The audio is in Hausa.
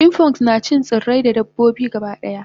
chipmunks nacin tsirrai da dabbobi gabadaya